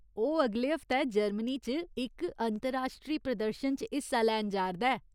ओह् अगले हफ्तै जर्मनी च इक अंतर्राश्ट्री प्रदर्शन च हिस्सा लैन जा'रदा ऐ।